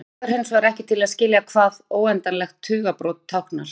Þetta dugar hinsvegar ekki til að skilja hvað óendanlegt tugabrot táknar.